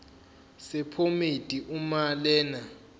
sephomedi uma lena